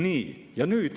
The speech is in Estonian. Nii.